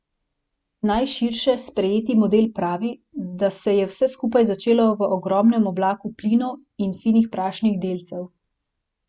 Najširše sprejeti model pravi, da se je vse skupaj začelo v ogromnem oblaku plinov in finih prašnih delcev.